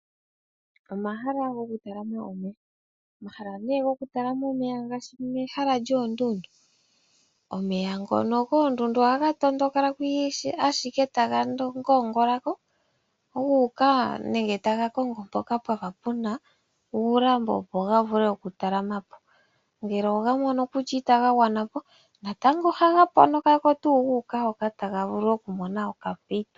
Omahala goku talama omeya, omahala nee gokutalama omeya ngaashi ehala lyoondundu. Omeya ngono koondundu ohaga tondokako ashike taga ngoongolako guuka nenge taga kongo mpoka pwafa puna uulambo opo gavulu okutalama po, ngele ogamono kutya itaga gwanapo natango ohaga ponokako tuu guuka hoka taga vulu okumona okampito.